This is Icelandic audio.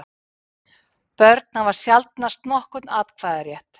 Börn hafa sjaldnast nokkurn atkvæðarétt.